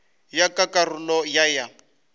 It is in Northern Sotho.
ya ka karolo ya ya